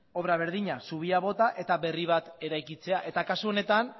obra berdina zubia bota eta berri bat eraikitzea eta kasu honetan